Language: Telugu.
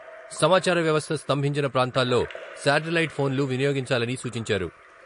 సమాచార వ్యవస్థ స్తంభించిన ప్రాంతాల్లో శాటిలైట్ ఫోన్లు వినియోగించాలని సూచించారు.